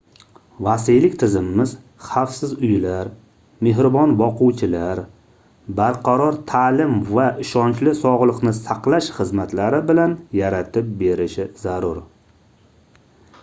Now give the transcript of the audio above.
vasiylik tizimimiz xavfsiz uylar mehribon boquvchilar barqaror taʼlim va ishonchli sogʻliqni saqlash xizmatlari bilan yaratib berishi zarur